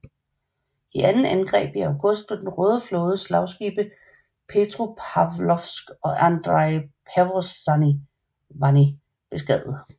I et andet angreb i august blev den Røde flådes slagskibe Petropavlovsk og Andrei Pervozvanny beskadiget